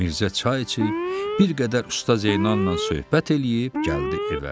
Mirzə çay içib, bir qədər Usta Zeynalnan söhbət eləyib gəldi evə.